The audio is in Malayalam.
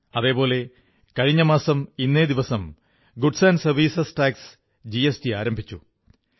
അതേപോലെ കഴിഞ്ഞമാസം ഇന്നേ ദിവസം goods and services tax GST ആരംഭിച്ചു